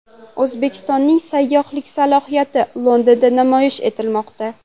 O‘zbekistonning sayyohlik salohiyati Londonda namoyish etilmoqda.